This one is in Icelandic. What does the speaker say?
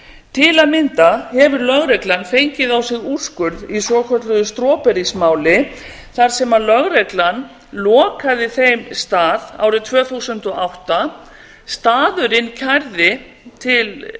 til að mynda hefur lögreglan fengið á sig úrskurð í svokölluðu strawberries máli þar sem lögreglan lokaði þeim stað árið tvö þúsund og átta staðurinn kærði til